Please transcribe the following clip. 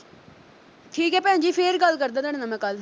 ਠੀਕ ਹੈ ਭੈਣ ਜੀ ਫੇਰ ਗੱਲ ਕਰਦਾ ਤੁਹਾਡੇ ਨਾਲ ਮੈਂ ਕੱਲ੍ਹ।